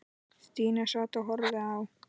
Stína sat og horfði á.